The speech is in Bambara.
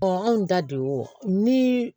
anw ta de y'o nii